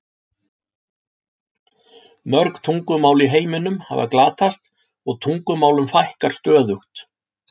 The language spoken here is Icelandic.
Mörg tungumál í heiminum hafa glatast og tungumálum fækkar stöðugt.